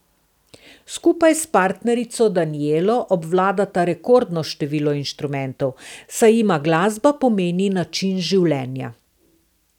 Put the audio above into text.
Skupaj s partnerico Danijelo obvladata rekordno število inštrumentov, saj jima glasba pomeni način življenja.